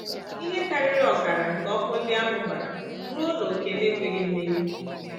Ihe karịrị ọkara nke ọkụ ndị ahụ gbara ruo n’ókè na-ekweghị mmenyụ.